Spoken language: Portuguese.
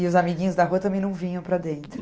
E os amiguinhos da rua também não vinham para dentro?